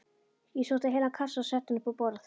Ég sótti heilan kassa og setti hann upp á borð.